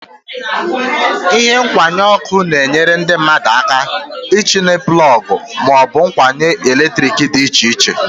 Ihe nkwụnye ọkụ na-enyere ndị mmadụ aka itinye plọg ma ọ bụ ngwaọrụ eletrik dị iche iche.